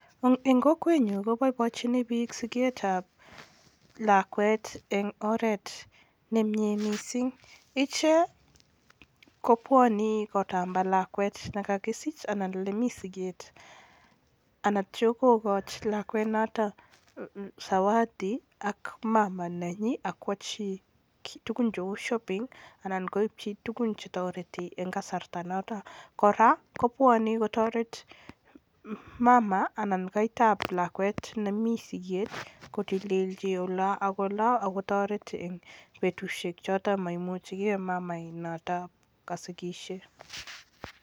Eng kokwenyun koboiboinchun biik siketab lakwet eng oret nemnye mising, ichek kobwani katamba lakwet ne kakisich anan lemi siket anatyo kokoch lakwet noto zawadi ak mama nenyi ak kwachi kiiy tugun cheu shopping anan koipchi tugun che toreti eng kasarta noto. Kora, kobwani kotoret mama anan kaitab lakwet nemi siket kotililchi oloo ak oloo ako toret eng betusiek choto maimuchikei mama noto kasikisie.